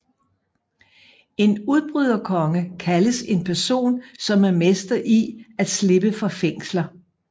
En Udbryderkonge kaldes en person som er mester i at slippe fra fængsler